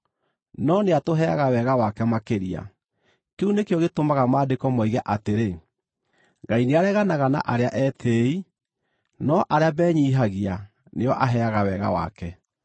No nĩatũheaga wega wake makĩria. Kĩu nĩkĩo gĩtũmaga Maandĩko moige atĩrĩ: “Ngai nĩareganaga na arĩa etĩĩi no arĩa menyiihagia nĩo aheaga wega wake.”